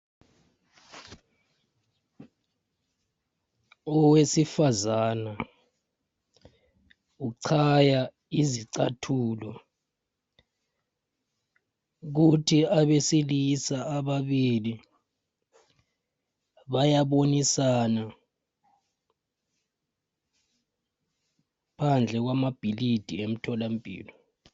Owesifazana uchaya izicathulo kuthi abesilisa ababili bayabonisana phandle kwamabhilidi emtholampilo.